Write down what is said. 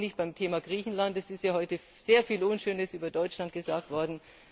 Damit bin ich beim Thema Griechenland. Es ist ja heute sehr viel Unschönes über Deutschland gesagt worden.